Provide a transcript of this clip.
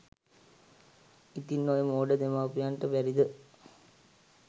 ඉතින් ඔය මෝඩ දෙමව්පියන්ට බැරිද